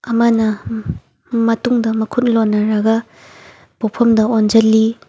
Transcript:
ꯑꯃꯅ ꯎꯝ ꯃꯇꯨꯡꯗ ꯃꯈꯨꯠ ꯂꯣꯟꯅꯔꯒ ꯄꯣꯐꯝꯗ ꯑꯣꯟꯖꯜꯂꯤ꯫